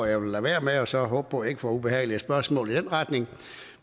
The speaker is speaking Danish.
jeg vil lade være med og så håbe på at jeg ikke får ubehagelige spørgsmål i den retning